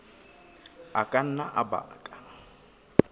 a ka nna a baka